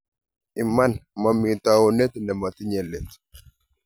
Iman, momi taunet nemotinye let